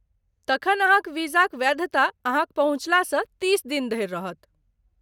तखन अहाँक वीजाक वैधता अहाँक पहुँचलासँ तीस दिन धरि रहत।